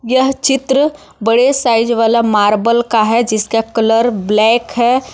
यह चित्र बड़े साइज वाला मार्बल का है जिसका कलर ब्लैक है।